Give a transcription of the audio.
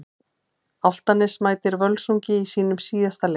Álftanes mætir Völsungi í sínum síðasta leik.